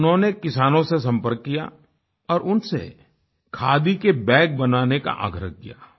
उन्होंने किसानों से संपर्क किया और उनसे खादी के बैग बनाने का आग्रह किया